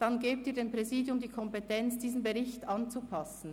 Dann geben Sie dem Präsidium die Kompetenz, diesen Bericht anzupassen.